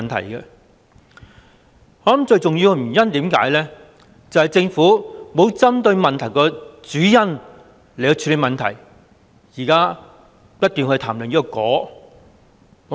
我認為最重要的原因，就是政府沒有針對問題的主因來處理問題，現在不斷談論"果"。